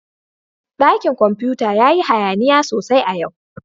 Dakin komfuta ya yi hayaniya sosai a yau